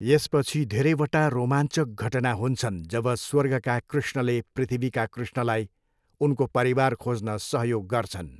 यसपछि धेरैवटा रोमाञ्चक घटना हुन्छन् जब स्वर्गका कृष्णले पृथ्वीका कृष्णलाई उनको परिवार खोज्न सहयोग गर्छन्।